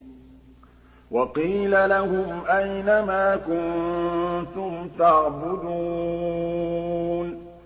وَقِيلَ لَهُمْ أَيْنَ مَا كُنتُمْ تَعْبُدُونَ